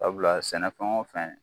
Sabula sɛnɛ fɛn o fɛn